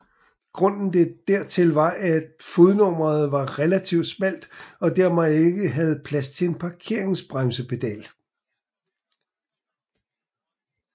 Grunden dertil var at fodrummet var relativt smalt og dermed ikke havde plads til en parkeringsbremsepedal